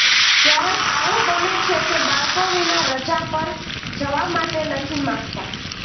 ક્યારેક આવું બને છે કે બાળકો વિના રજા પર જવા માટે નથી માંગતા